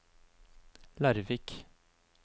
Larvik